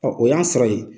o y'a sɔrɔ ye